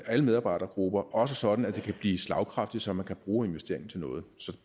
alle medarbejdergrupper også sådan at det kan blive slagkraftigt så man kan bruge investeringen til noget så